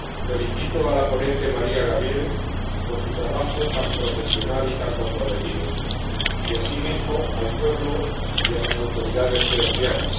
Felicito a la ponente Maríya Gabriel por su trabajo tan profesional y tan comprometido y, asimismo, al pueblo y a las autoridades georgianas.